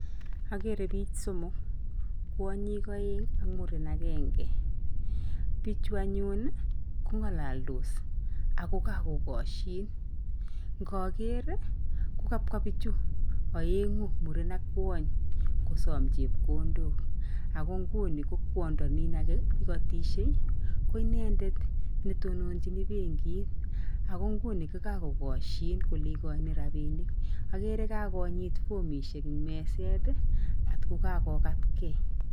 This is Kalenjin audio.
Akere bik somok, kwany'ik aeng ak muren akenge. Bichu anyun kong'alaldos ako kakokashin. Ngaker kokabwa bichu aeng'u , muren ak kwony kosom chepkondok, ako nguni ko kwondo nin ake ikotishe, ko inendet netononjin benkit, ako nguni ko kakokashin kole ikochin rabinik. Akere kakonyit fomishek ing meset ak kakokatkei.